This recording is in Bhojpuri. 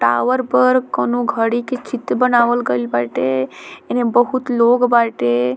टावर पर कोनो घड़ी के चित्र बनावल गइल बाटे एने बहुत लोग बाटे।